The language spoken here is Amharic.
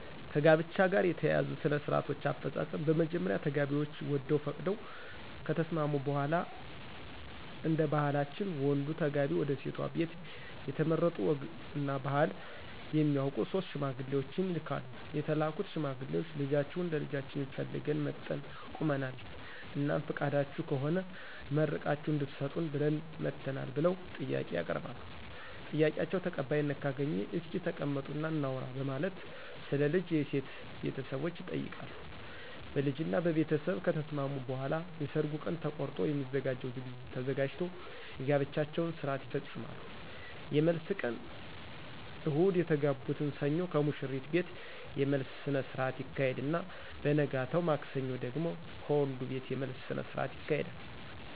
ከጋብቻ ጋር የተያያዙ ሥነ -ስርአቶች አፈጻጸም በመጀመሪያ ተጋቢዎች ወደው ፈቅደው ከተስማሙ በሗላ እደባህላችን ወንዱ ተጋቢ ወደሴቷ ቤት የተመረጡ ወግ እና ባህል የሚያውቁ 3 ሽማግሌዎችን ይልካሉ የተላኩት ሽማግሌዎች ልጃችሁን ለልጃችን ፈልገን መጠን ቁመናል? እናም ፍቃዳችሁ ከሆነ መርቃችሁ እድትሰጡን ብለን መጠናል ብለው ጥያቄ ያቀርባሉ? ጥያቄአቸው ተቀባይነት ካገኘ እስኪ ተቀመጡ እና እናውራ በማለት ስለ ልጅ የሴት ቤተሰቦች ይጠይቃሉ ? በልጅ እና በቤተስብ ከተስማሙ በኃላ የሰርጉ ቀን ተቆርጦ የሚዘጋጀው ዝግጅት ተዘጋጅቶ የጋብቻቸውን ስርአት ይፈጾማሉ። የመልስ ቀን እሁድ የተጋቡትን ሰኞ ከሙሽሪት ቤት የመልስ ስነስረአት ይካሄድና በነገታው ማክሰኞ ደግሞ ከወንዱቤት የመልስ ስነስርአት ይካሄዳል።